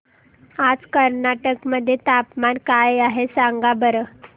आज कर्नाटक मध्ये तापमान काय आहे सांगा बरं